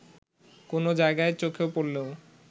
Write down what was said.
কোনো জায়গায় চোখে পড়লেও